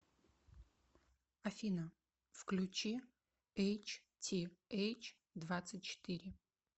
афина включи эйч ти эйч двадцать четыре